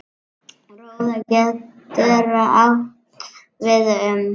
Róða getur átt við um